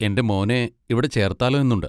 എൻ്റെ മോനെ ഇവിടെ ചേർത്താലോ എന്നുണ്ട്.